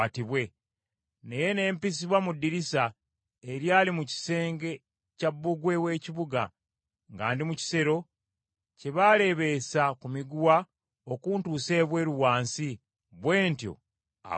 naye ne mpisibwa mu ddirisa, eryali mu kisenge kya bbugwe w’ekibuga, nga ndi mu kisero kye baaleebeesa ku miguwa okuntuusa ebweru wansi, bwe ntyo abo ne mbawona.